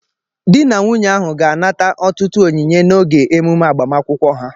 Di na nwunye ahụ ga-anata ọtụtụ onyinye n'oge emume agbamakwụkwọ ha